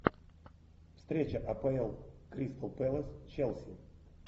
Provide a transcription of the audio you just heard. встреча апл кристал пэлас челси